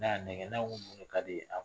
N'a y'a nɛkɛn na ko mun de ka d'e ye